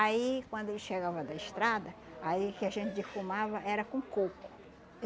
Aí, quando ele chegava da estrada, aí o que a gente defumava era com coco.